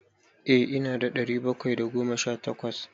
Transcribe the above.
Eh ina da ɗari bakwai da goma sha takwas.